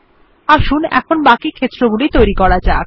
আসুন এখন বাকি ক্ষেত্রগুলি তৈরী করা যাক